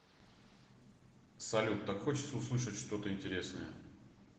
салют так хочется услышать что то интересное